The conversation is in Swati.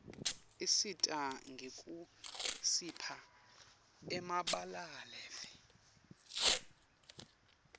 isisita ngekusipha emabalave